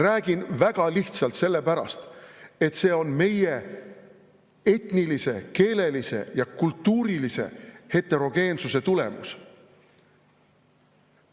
Räägin väga lihtsal põhjusel: sellepärast, et see on meie etnilise, keelelise ja kultuurilise heterogeensuse tulemus.